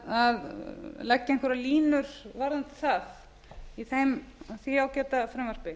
að leggja einhverjar línur varðandi það í því ágæta frumvarpi